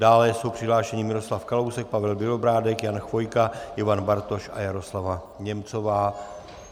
Dále jsou přihlášeni Miroslav Kalousek, Pavel Bělobrádek, Jan Chvojka, Ivan Bartoš a Jaroslava Němcová.